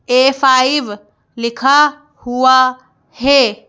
ए five लिखा हुआ है।